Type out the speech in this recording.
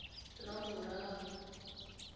laboraro